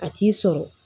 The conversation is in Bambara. A t'i sɔrɔ